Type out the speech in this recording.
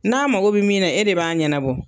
N'a mago bi min na, e de b'a ɲanabɔ.